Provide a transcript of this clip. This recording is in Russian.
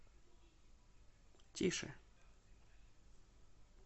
тише